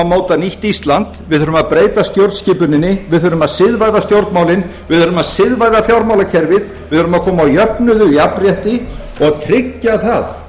móta nýtt ísland við þurfum að breyta stjórnskipuninni við þurfum að siðvæða stjórnmálin við verðum að siðvæða fjármálakerfið við verðum að koma á jöfnuði og jafnrétti og tryggja það